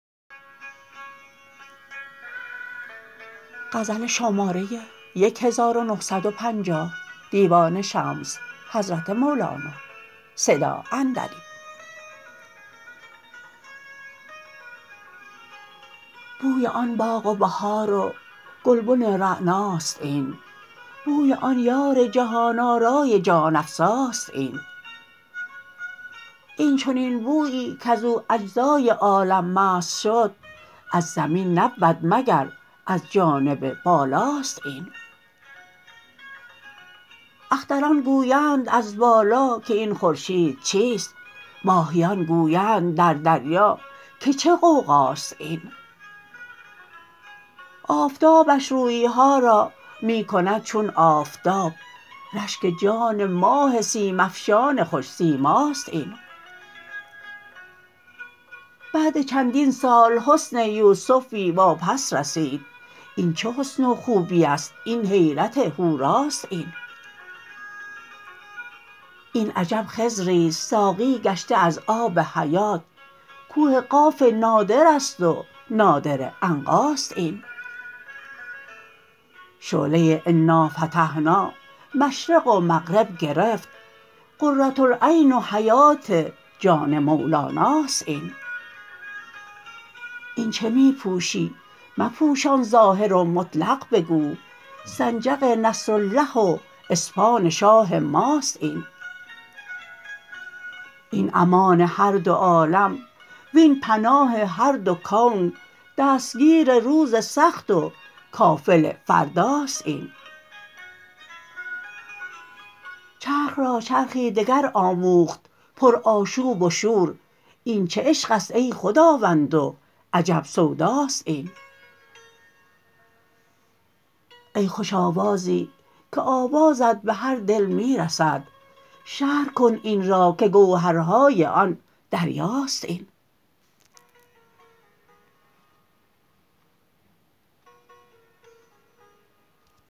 بوی آن باغ و بهار و گلبن رعناست این بوی آن یار جهان آرای جان افزاست این این چنین بویی کز او اجزای عالم مست شد از زمین نبود مگر از جانب بالا است این اختران گویند از بالا که این خورشید چیست ماهیان گویند در دریا که چه غوغاست این آفتابش روی ها را می کند چون آفتاب رشک جان ماه سیم افشان خوش سیماست این بعد چندین سال حسن یوسفی واپس رسید این چه حسن و خوبی است این حیرت حور است این این عجب خضری است ساقی گشته از آب حیات کوه قاف نادر است و نادره عنقاست این شعله انافتحنا مشرق و مغرب گرفت قره العین و حیات جان مولاناست این این چه می پوشی مپوشان ظاهر و مطلق بگو سنجق نصرالله و اسپاه شاه ماست این این امان هر دو عالم وین پناه هر دو کون دستگیر روز سخت و کافل فرداست این چرخ را چرخی دگر آموخت پرآشوب و شور این چه عشق است ای خداوند و عجب سوداست این ای خوش آوازی که آوازت به هر دل می رسد شرح کن این را که گوهرهای آن دریاست این